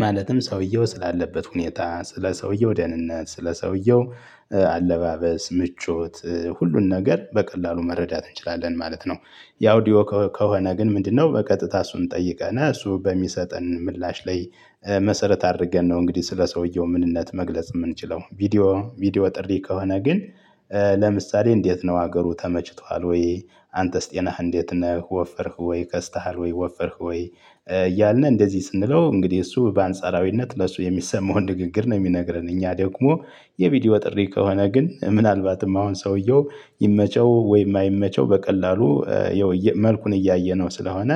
ማለትም ሰውየው ስላለበት ሁኔታ ስለ ሰውየው ደህንነት ስለ ስለሰውየው አለባበስ ምቾት ሁሉን ነገር በቀላሉ መረዳት እንችላለን ማለት ነው። ያውዲዮ ከሆነ ግን ምንድነው በቀጥታ እሱን ጠይቀነ እሱ በሚሰጠን ምላሽ ላይ መሰረት አድርገን ነው እንግዲህ ስለ ሰውየው ምንነት መግለጽ ምንችለው ቪዲዮ ቪዲዮ ጥሪ ከሆነ ግን። ለምሳሌ እንዴት ነው አገሩ ተመችቷሀል ወይ? አንተስ ጤናህ እንዴት ነህ ወፍርክ ወይ ከስተሃል ወይ ወፍርክ ወይ? እያልን እንደዚህ ስንለው እንግዲህ እሱ በአንጻራዊነት ለሱ የሚሰማውን ንግግር ነው ሚነግረን እኛ ደግሞ። የቪዲዮ ጥሪ ከሆነ ግን ምናልባትም አሁን ሰውየው ይመቸው ወይ አይመቸው በቀላሉ የው መልኩን እያየነው ስለሆነ።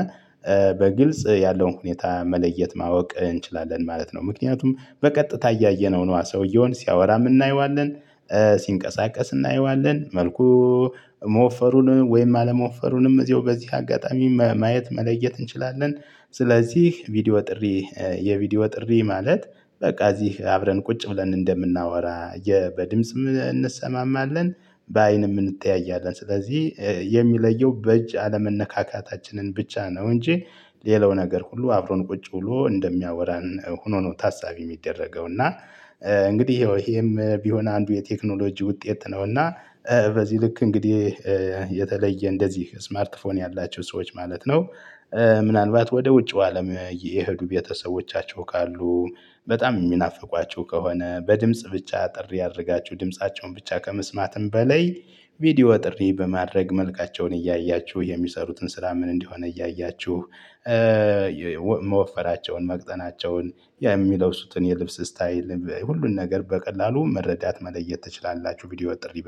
በግልጽ ያለውን ሁኔታ መለየት ማወቅ እንችላለን ማለት ነው። ምክንያቱም በቀጥታ እያየነው ነው ሰውየውን ሲያወራ እናየዋለን። ሲንቀሳቀስ እናየዋለን መልኩ። መወፈሩንም ወይም አለመወፈሩንም እዚያው በዚህ አጋጣሚ ማየት መለየት እንችላለን። ስለዚህ ቪዲዮ ጥሪ የቪዲዮ ጥሪ ማለት በቃ እዚህ አብረን ቁጭ ብለን እንደምናወራ በድምጽም እንሰማማለን። በአይንም እንተያያለን ስለዚህ የሚለየው በእጅ አለመነካካታችንን ብቻ ነው። እንጂ ሌላው ነገር ሁሉ አብሮን ቁጭ ብሎ እንደሚያወራንን ሆኖ ነው ታሳቢ ሚደረገው። እና እንግዲህ የው ይሄም ቢሆን አንዱ የቴክኖሎጂ ውጤት ነውና። በዚህ ልክ እንግዲህ የተለየ እንደዚህ ስማርትፎን ያላቸው ሰዎች ማለት ነው። ምናልባት ወደ ውጩ አለም የሄዱ ቤተሰቦቻቸው ካሉ። በጣም ሚናፍቋቸው ከሆነ በድምጽ ብቻ አጥር እያደረጋችሁ ድምፃቸውን ብቻ ከመስማትም በላይ ቪዲዮ ጥሪ በማድረግ መልካቸውን እያያችሁ የሚሰሩትን ስራ ምን እንደሆን እያያችሁ። መወፈራቸውን መቅጠናቸውን የሚለብሱትን የልብስ ስታይል ሁሉን ነገር በቀላሉ መረዳት መለየት ትችላላችሁ። ቪዲዮ ጥሪ